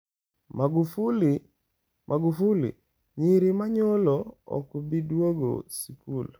Magufuli: Nyiri ma nyolo ok bi duogo sikul